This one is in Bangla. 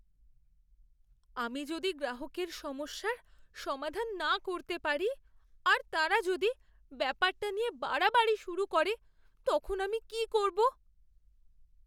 আমি যদি গ্রাহকের সমস্যার সমাধান না করতে পারি আর তারা যদি ব্যাপারটা নিয়ে বাড়াবাড়ি শুরু করে তখন আমি কি করবো?